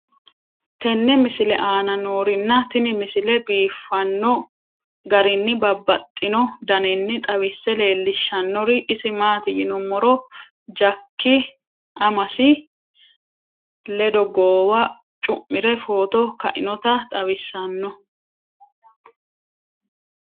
tenne misile aana noorina tini misile biiffanno garinni babaxxinno daniinni xawisse leelishanori isi maati yinummoro jakki amasi ledo goowa cu'mire footo kainnotta xawissanno